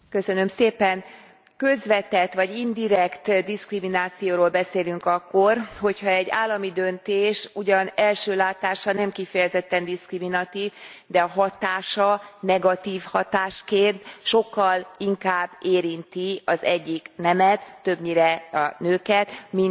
Közvetett, vagy indirekt diszkriminációról beszélünk akkor, hogyha egy állami döntés ugyan első látásra nem kifejezetten diszkriminatív, de a hatása negatív hatásként sokkal inkább érinti az egyik nemet többnyire a nőket mint a másikat.